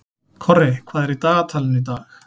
Korri, hvað er í dagatalinu í dag?